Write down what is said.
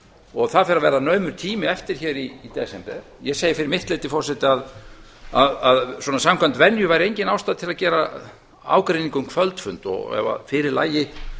og það fer að verða naumur tími eftir í desember ég segi fyrir mitt leyti forseti að svona samkvæmt venju væri engin ástæða til að gera ágreining um kvöldfund og ef að fyrir lægi